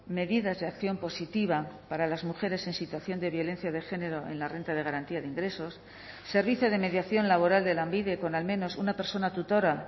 medidas de acción positiva para las mujeres en situación de violencia de género en la renta de garantía de ingresos servicio de mediación laboral de lanbide con al menos una persona tutora